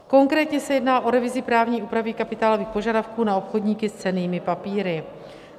Konkrétně se jedná o revizi právní úpravy kapitálových požadavků na obchodníky s cennými papíry.